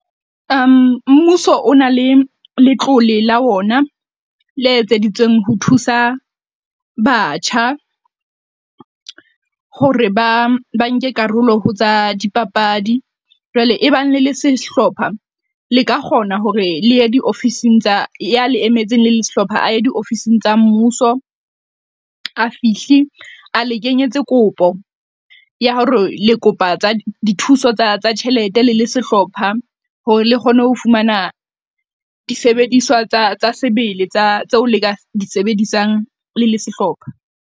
Mmuso o na le letlole la ona le etseditsweng ho thusa batjha hore ba ba nke karolo ho tsa dipapadi. Jwale e bang le le sehlopha le ka kgona hore le ye diofising tsa, ya le emetseng le sehlopha a ye diofising tsa mmuso. A fihle a le kenyetse kopo ya hore le kopa dithuso tsa tjhelete le le sehlopha hore le kgone ho fumana disebediswa tsa sebele tsa tseo le ka di sebedisang le le sehlopha.